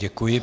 Děkuji.